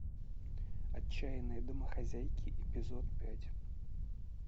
отчаянные домохозяйки эпизод пять